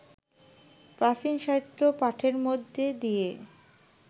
প্রাচীন সাহিত্য পাঠের মধ্যে দিয়ে